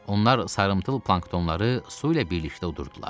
Onlar sarımtıl planktonları su ilə birlikdə udurdular.